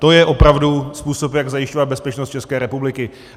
To je opravdu způsob, jak zajišťovat bezpečnost České republiky!